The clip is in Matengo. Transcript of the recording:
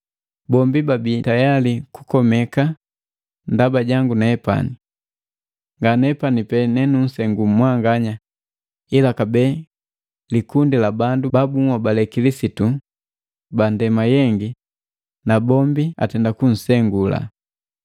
Bombi babi tayali kukomeka ndaba jangu nepani. Nganepani pena nenunsengu mwanya ila kabee likundi la bandu ba bunhobale Kilisitu bandema yengi na bombi atenda kunsengu.